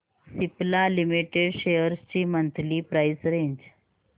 Cipla limited shares ची monthly price range